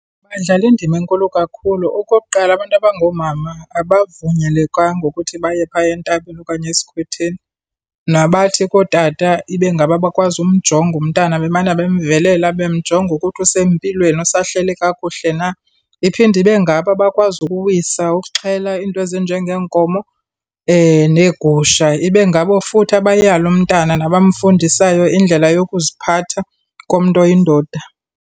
Badlala indima enkulu kakhulu. Okokuqala, abantu abangomama abavunyelekanga ukuthi baye phaya entabeni okanye esikhwetheni. Nabathi kootata, ibe ngabo abakwazi umjonge umntana bemane bemvelela bemjonga ukuthi usempilweni, usahleli kakuhle na. Iphinde ibe ngabo abakwazi ukuwisa, ukuxhela iinto ezinjengeenkomo neegusha. Ibe ngabo futhi abayala umntana nabamfundisayo indlela yokuziphatha komntu oyindoda.